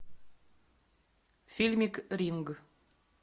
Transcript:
фильмик ринг